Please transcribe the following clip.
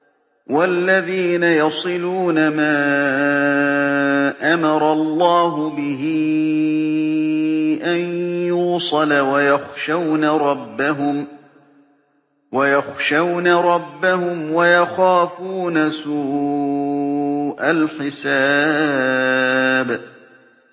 وَالَّذِينَ يَصِلُونَ مَا أَمَرَ اللَّهُ بِهِ أَن يُوصَلَ وَيَخْشَوْنَ رَبَّهُمْ وَيَخَافُونَ سُوءَ الْحِسَابِ